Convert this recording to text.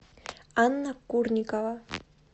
анна курникова